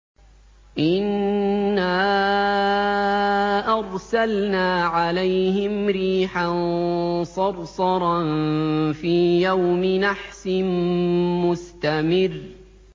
إِنَّا أَرْسَلْنَا عَلَيْهِمْ رِيحًا صَرْصَرًا فِي يَوْمِ نَحْسٍ مُّسْتَمِرٍّ